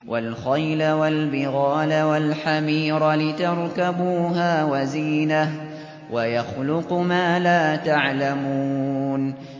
وَالْخَيْلَ وَالْبِغَالَ وَالْحَمِيرَ لِتَرْكَبُوهَا وَزِينَةً ۚ وَيَخْلُقُ مَا لَا تَعْلَمُونَ